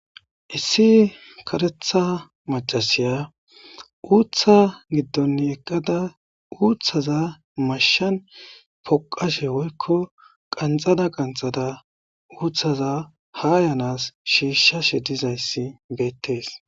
issi karetha macasiya uutha giddon eqqada uuththaza mashshan poqashe woykko qanxada qanxada uuthaza ha yanas shiishshashe dizayssi beettees